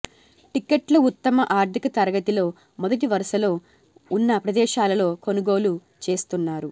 టికెట్లు ఉత్తమ ఆర్ధిక తరగతి లో మొదటి వరుసలో ఉన్న ప్రదేశాలలో కొనుగోలు చేస్తున్నారు